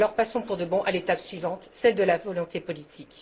Alors passons pour de bon à l'étape suivante celle de la volonté politique.